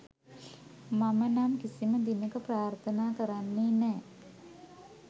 මම නම් කිසිම දිනක ප්‍රාර්ථනා කරන්නේ නෑ